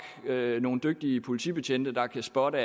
nogle dygtige politibetjente der kan spotte